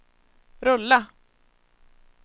rulla